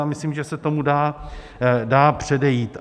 Já myslím, že se tomu dá předejít.